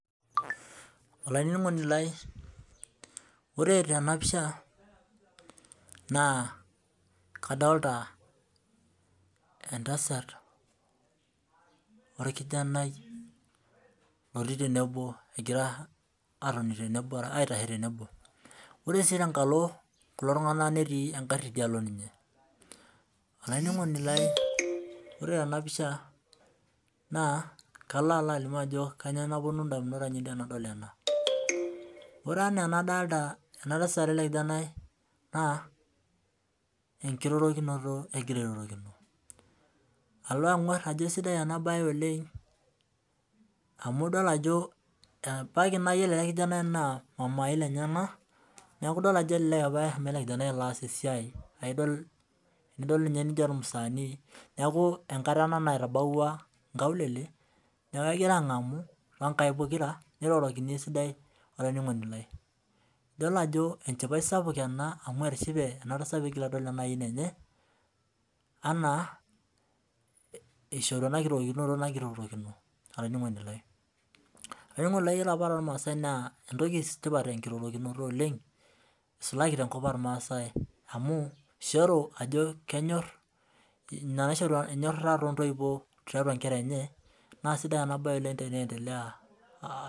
Olainining'oni lai ore tenapisha naa kadolita oltasat orkijanai otii tenebo egira atoni tenebo aitasho tenebo. Ore tenkalo kulo tungana netii eng'arri dialo ninye. Olinining'oni lai ore tenapisha kalo alo alimu ajo kanyioo naponu indamunot ainei tenadol ena. Ore ena nadolita enatasat ole kijanai naa enkirorokinoto egira airorokino. Kalo ang'uarr ajo kesidai enabaye oleng amu idol ajo ebaki naa iyiolo ale ilkijanai naa mamai lenyena, neaku idol ajo ale lee opa anaa ale kijanai laasani le siai aidol ninye nijo ilmusaanii. Neaku enkata ana naitabauwa nkaulele, neaku egira ang'amu too inkaik pokira, nierorokini esidai olainining'oni lai. Idol ajo enchipai sapuk ena amu etishipe ena tasat peedol ena aiyeni enye anaa eshiorito anakirorokino oloinaning'oni lai. Olainaning'oni ore apa too ilmaasai naa entoki tipat enkirorokinoto oleng, eisulaki te nkop olmaasai amu eisharu ajo kenyorr ina naisharu ajo enyorra intoiwo tiatau inkera enye naa esidai enabaye oleng teneentelea.